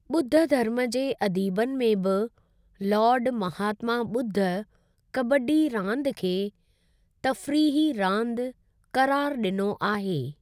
ॿुद्ध धर्म जे अदीबन में बि लार्ड महात्मा ॿुद्ध कबड्डी रांदि खे तफ़रीही रांदि क़रारु ॾिनो आहे।